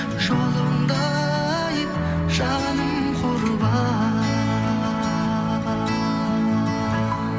жолыңда ай жаным құрбан